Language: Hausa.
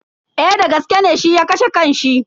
Eh dagaske ne shi ya kashe kan shi.